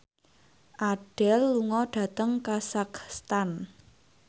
Adele lunga dhateng kazakhstan